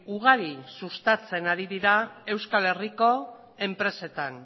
ugari sustatzen ari dira euskal herriko enpresetan